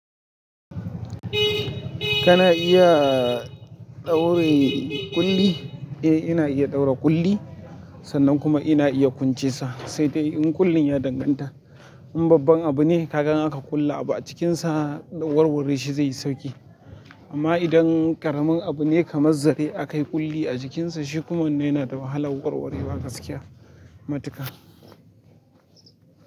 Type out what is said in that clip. Kana iya ɗaure ƙulli? Eh ina iya ɗaura ƙulli, sannan kuma ina iya kunce sa. Sai dai in ƙullin ya danganta. In babban abu ne kagan in aka ƙulla abu a cikinsa, warware shi zai yi sauƙi. Amma idan ƙaramin abu ne kamar zare aka yi ƙulli a jikinsa shi kuma wannan yana da wahalar warwarewa gaskiya matuƙa.